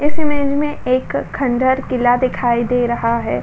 इस इमेज में एक खंडर किला दिखाई दे रहा है।